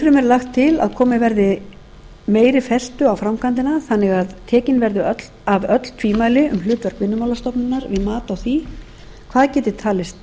lagt til að komið verði meiri festu á framkvæmdina þannig að tekin verði af öll tvímæli um hlutverk vinnumálastofnunar við mat á því hvað geti talist